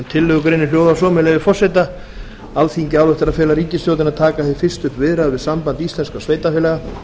tillögugreinin hljóðar svo með leyfi forseta alþingi ályktar að fela ríkisstjórninni að taka hið fyrsta upp viðræður við samband íslenskra sveitarfélaga